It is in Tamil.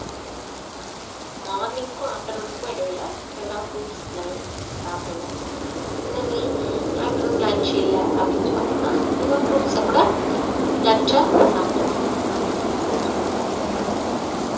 morning க்கும் afternoon க்கும் இடையில எதனா fruits அந்த மாரி சாப்பிடலாம் அதே மாதிரி afternoon lunch இல்ல அப்படின்னு பார்த்தோம்னா நம்ம fruits அ கூட lunch ஆ சாப்பிட்டுக்கலாம் afternoon fruits கூட சாப்பிட்டுக்கலாம் தப்பில்ல